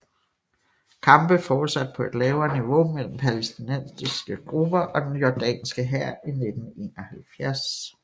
Kampe fortsatte på et lavere niveau mellem palæstinensiske grupper og den jordanske hær i 1971